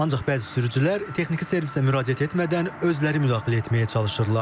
Ancaq bəzi sürücülər texniki servisə müraciət etmədən özləri müdaxilə etməyə çalışırlar.